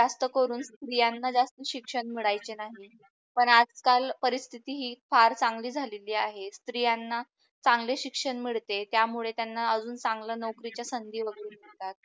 पण आज काल परिस्थिति ही फार चांगली झालेली आहे. स्त्रीयांना चांगले शिक्षण मिडते त्यामुळे त्यांना अजून चंगल्या नोकरीच्या संधि वगेरे मिडतात.